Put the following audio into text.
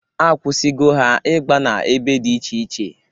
Akwụsịgo ha igba na-ebe dị iche iche.